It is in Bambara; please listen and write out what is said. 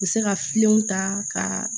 U bɛ se ka ta ka